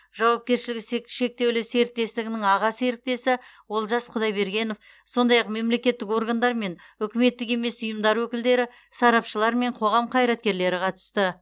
жауапкершілігі сек шектеулі серіктестігінің аға серіктесі олжас құдайбергенов сондай ақ мемлекеттік органдар мен үкіметтік емес ұйымдар өкілдері сарапшылар мен қоғам қайраткерлері қатысты